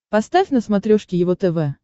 поставь на смотрешке его тв